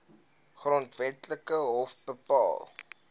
grondwetlike hof bepaal